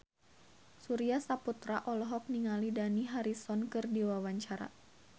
Surya Saputra olohok ningali Dani Harrison keur diwawancara